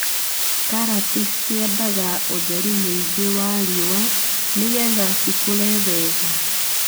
Karati ciendaga uũtheri mũingĩ wa riũa nĩgetha cikũre wega,